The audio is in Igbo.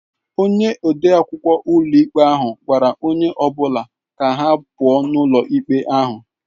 Onye ode akwụkwọ ụlọikpe ahụ gwara onye ọ bụla ka ha pụọ ​​n'ụlọ ikpe ahụ